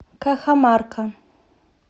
кахамарка